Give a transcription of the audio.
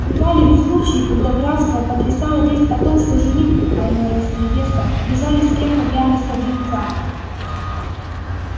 бывали ведь случаи когда графство потрясала весть о том что жених а иной раз невеста бежали с кем-то прямо из-под венца